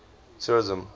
tourism